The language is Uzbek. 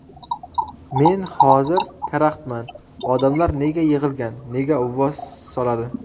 Men hozir karaxtman, odamlar nega yig‘ilgan, nega uvvos soladi?